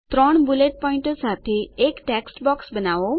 ત્રણ બુલેટ પોઈન્ટો સાથે એક ટેક્સ્ટ બોક્સ બનાવો